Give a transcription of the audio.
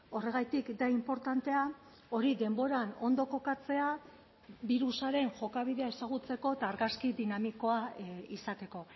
horregatik da inportantea hori denboran ondo kokatzea birusaren jokabidea ezagutzeko eta argazki dinamikoa izateko